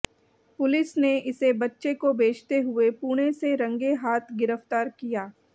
police ने इसे बच्चे को बेचते हुए पुणे से रंगे हाथ गिरफ्तार किया